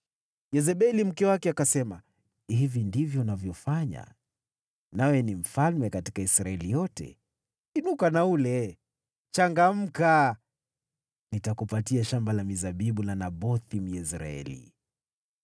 Yezebeli mke wake akasema, “Hivi ndivyo unavyofanya, nawe ni mfalme katika Israeli yote? Inuka na ule! Changamka. Nitakupatia shamba la mizabibu la Nabothi, Myezreeli.”